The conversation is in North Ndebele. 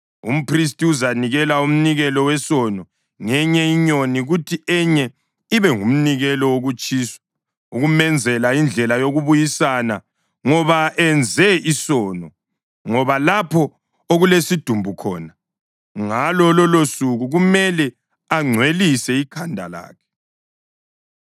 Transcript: Umphristi uzanikela umnikelo wesono ngenye inyoni kuthi enye ibe ngumnikelo wokutshiswa ukumenzela indlela yokubuyisana ngoba enze isono ngoba lapho okulesidumbu khona. Ngalo lolosuku kumele angcwelise ikhanda lakhe.